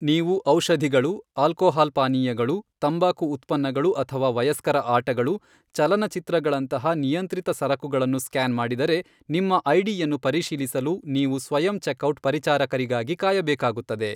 ನೀವು ಔಷಧಿಗಳು, ಆಲ್ಕೊಹಾಲ್ ಪಾನೀಯಗಳು, ತಂಬಾಕು ಉತ್ಪನ್ನಗಳು ಅಥವಾ ವಯಸ್ಕರ ಆಟಗಳು , ಚಲನಚಿತ್ರಗಳಂತಹ ನಿಯಂತ್ರಿತ ಸರಕುಗಳನ್ನು ಸ್ಕ್ಯಾನ್ ಮಾಡಿದರೆ, ನಿಮ್ಮ ಐಡಿಯನ್ನು ಪರಿಶೀಲಿಸಲು ನೀವು ಸ್ವಯಂ ಚೆಕ್ ಔಟ್ ಪರಿಚಾರಕರಿಗಾಗಿ ಕಾಯಬೇಕಾಗುತ್ತದೆ.